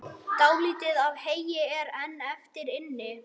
Dálítið af heyi er enn eftir inni.